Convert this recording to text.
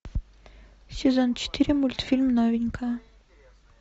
сезон четыре мультфильм новенькая